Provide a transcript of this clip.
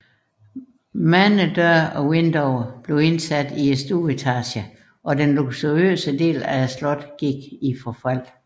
Mange døre og vinduer blev indsat i stueetagen og den luksuriøse del af slottet gik i forfald